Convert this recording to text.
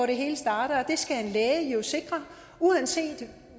det hele starter det skal en læge jo sikre uanset